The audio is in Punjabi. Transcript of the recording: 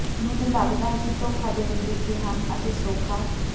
ਮੈਨੂੰ ਲੱਗਦਾ ਹੈ ਕਿ ਧੋਖਾ ਦੇਣ ਦੇ ਤਰੀਕੇ ਹਨ ਅਤੇ ਸੌਖਾ